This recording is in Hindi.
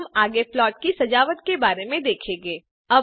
अब हम आगे प्लॉट की सजावट के बारे में देखेंगे